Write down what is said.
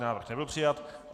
Návrh nebyl přijat.